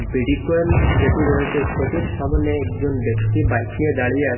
ভিডিকন যেটি রয়েসে সেটির সামোনে একজন ব্যক্তি বাইক নিয়ে দাঁড়িয়ে আসে।